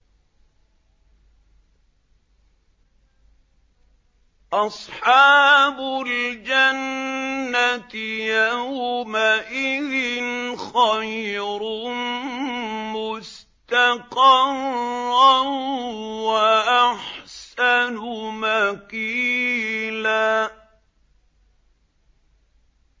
أَصْحَابُ الْجَنَّةِ يَوْمَئِذٍ خَيْرٌ مُّسْتَقَرًّا وَأَحْسَنُ مَقِيلًا